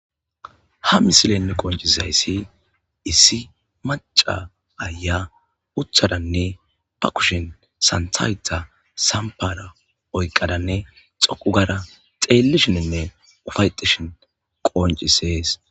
Ha misilenne qoncizayssi issi maca aya uthadanne ba kushin santayta sampara oyqadanne xoqu gara xeellishininne ufayexishin qoncisees.